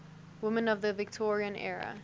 women of the victorian era